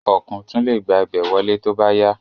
Ọ̀kùn tún le gba ibẹ̀ wọlé tóbá yá